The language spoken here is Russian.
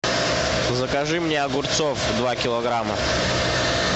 закажи мне огурцов два килограмма